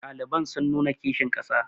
ɗaliban sun nuna kishin ƙasa